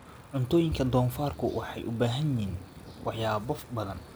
Cuntooyinka doofaarku waxay u baahan yihiin waxyaabo badan.